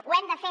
ho hem de fer